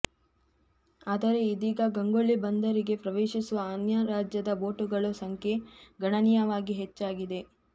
ಆದರೆ ಇದೀಗ ಗಂಗೊಳ್ಳಿ ಬಂದರಿಗೆ ಪ್ರವೇಶಿಸುವ ಅನ್ಯ ರಾಜ್ಯದ ಬೋಟುಗಳು ಸಂಖ್ಯೆ ಗಣನೀಯವಾಗಿ ಹೆಚ್ಚಾಗಿದೆ